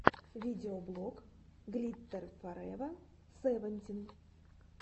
видеоблог глиттер форева севентин